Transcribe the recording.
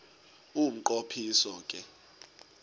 umnqo phiso ke